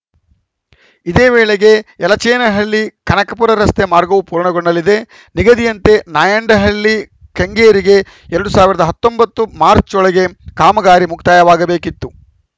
ಇದೇ ವೇಳೆಗೆ ಯಲಚೇನಹಳ್ಳಿ ಕನಕಪುರ ರಸ್ತೆ ಮಾರ್ಗವೂ ಪೂರ್ಣಗೊಳ್ಳಲಿದೆ ನಿಗದಿಯಂತೆ ನಾಯಂಡಹಳ್ಳಿ ಕೆಂಗೇರಿಗೆ ಎರಡ್ ಸಾವಿರದ ಹತ್ತೊಂಬತ್ತು ಮಾರ್ಚ್ ರೊಳಗೆ ಕಾಮಗಾರಿ ಮುಕ್ತಾಯವಾಗಬೇಕಿತ್ತು